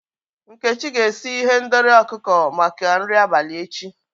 Nkechi ga-esi ihendori ọkụkọ maka nri abalị echi.